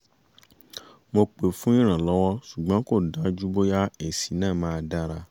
mo pè fún ìrànlọ́wọ́ ṣùgbọ́n kò dájú bóyá èsì náà máa dára